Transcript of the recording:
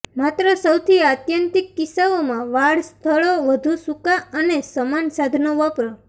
માત્ર સૌથી આત્યંતિક કિસ્સાઓમાં વાળ સ્થળો વધુ સુકાં અને સમાન સાધનો વાપરો